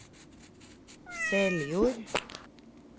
Seljord